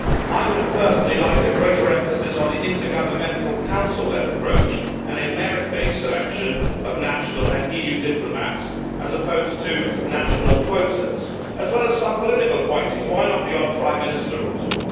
I personally would have liked a greater emphasis on the intergovernmental Council led approach and a merit based selection of national and EU diplomats, as opposed to national quotas as well as some political appointees, and why not the odd ex prime minister or two?